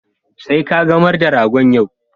Sai kagamar da rogon yau.